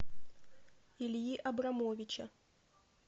ильи абрамовича